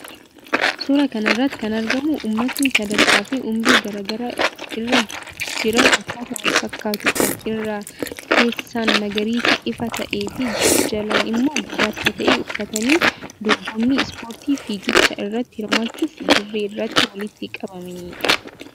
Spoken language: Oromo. Suuraa kana irratti kan argamu uummatni sadarkaafi umurii garaa garaa irra jiran uffata wal fakkaatu kan irra keessaan magariisa ifaa ta'eefi jalaan immoo gurraacha ta'e uffatanii dorgommii ispoortii fiigicha irratti hirmaachuuf dirree irratti walitti qabamaniidha.